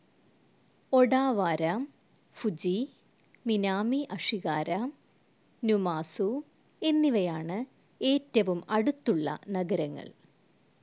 Odawara, Fuji, Minami Ashigara, Numazu എന്നിവയാണ് ഏറ്റവും അടുത്തുള്ള നഗരങ്ങൾ.